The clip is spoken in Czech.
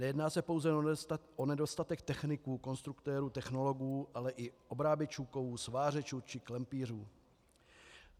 Nejedná se pouze o nedostatek techniků, konstruktérů, technologů, ale i obráběčů kovů, svářečů či klempířů.